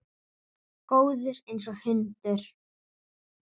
Góður einsog hundur.